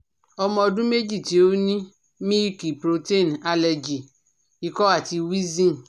Ọmọ ọdún méjì tí ó ní milk protein allergy, ìkọ àti wheezing